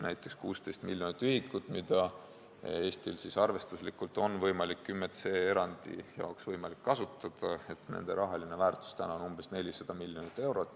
Näiteks nende 16 miljoni ühiku rahaline väärtus, mida Eestil on arvestuslikult võimalik 10c erandi jaoks kasutada, on täna umbes 400 miljonit eurot.